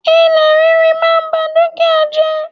Ilẹ̀ ríri máa n ba dúkìá jẹ́